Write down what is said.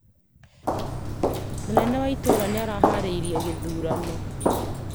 Munene ya itũra nĩ araharĩrĩirie gĩthurano